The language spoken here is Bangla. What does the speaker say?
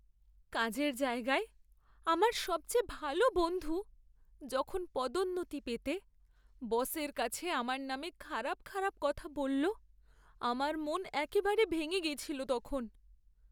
কাজের জায়গায় আমার সবচেয়ে ভালো বন্ধু যখন পদোন্নতি পেতে বসের কাছে আমার নামে খারাপ খারাপ কথা বলল, আমার মন একেবারে ভেঙে গেছিল তখন।